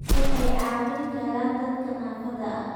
Waxay caawin karaan dadka naafada ah.